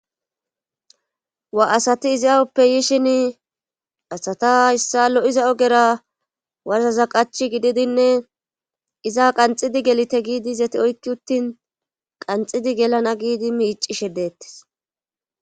wa asati izi awuppe yishin asata hissa lo7iza ogera warzaza qach gididinne iza qanxidi gelite giidi izati oykki uttin qanxidi gelana giidi miicishe deettes